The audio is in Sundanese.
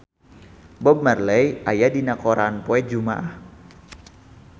Bob Marley aya dina koran poe Jumaah